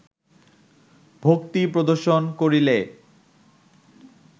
ভক্তি প্রদর্শন করিলে